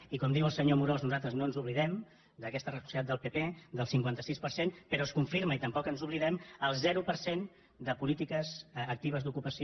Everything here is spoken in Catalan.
i com diu el senyor amorós nosaltres no ens oblidem d’aquesta responsabilitat del pp del cinquanta sis per cent però es confirma i tampoc ens n’oblidem el zero per cent de polítiques actives d’ocupació